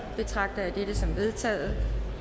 betragter jeg det som vedtaget